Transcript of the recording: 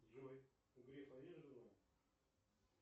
джой у грефа есть жена